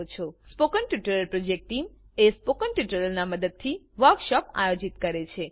spoken tutorial project team spoken ટ્યુટોરીયલોનાં મદદથી વર્કશોપોનું આયોજન કરે છે